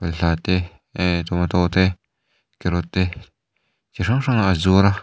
balhla te eh tawmataw te kerawtt te chi hrang hrang aaa zuar a.